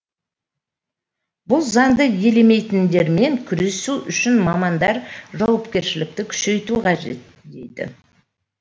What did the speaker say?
бұл заңды елемейтіндермен күресу үшін мамандар жауапкершілікті күшейту қажет дейді